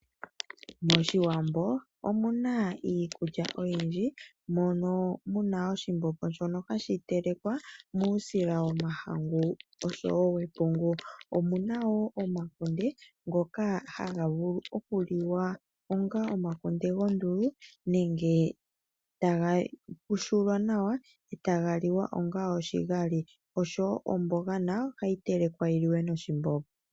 MOshiwambo omu na iikulya oyindji, mono mu na oshimbombo hashi telekwa taku longithwa uusila womahangu oshowo wepungu. Omu na wo omakunde ngoka haga vulu okuliwa onga omakunde gondulu nenge taga pushulwa nawa e taga liwa onga oshigali, oshowo omboga nayo ohayi telekwa yi liwe noshimbombo.